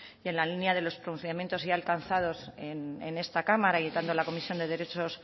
y en la línea de los pronunciamientos ya alcanzados en esta cámara y tanto en la comisión de derechos